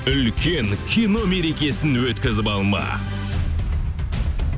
үлкен кино мерекесін өткізіп алма